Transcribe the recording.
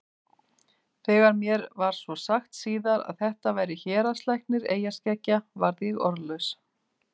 Þegar mér var svo sagt síðar að þetta væri héraðslæknir eyjaskeggja varð ég orðlaus.